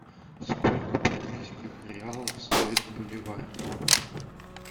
сколько бразильских реалов стоит боливар